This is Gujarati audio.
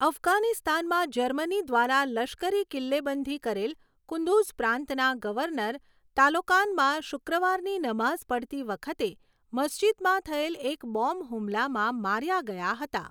અફઘાનિસ્તાનમાં જર્મની દ્વારા લશ્કરી કિલ્લેબંધી કરેલ કુન્દુઝ પ્રાંતના ગવર્નર તાલોકાનમાં શુક્રવારની નમાઝ પઢતી વખતે મસ્જિદમાં થયેલ એક બોમ્બ હુમલામાં માર્યા ગયા હતા.